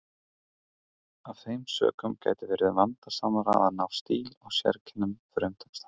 Af þeim sökum gæti verið vandasamara að ná stíl og sérkennum frumtextans.